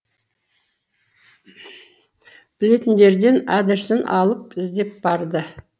білетіндерден адресін алып іздеп барды